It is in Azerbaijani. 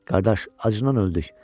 Qardaş, acından öldük.